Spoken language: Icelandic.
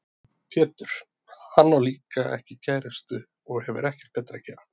Pétur: Hann á líka ekki kærustu og hefur ekkert betra að gera.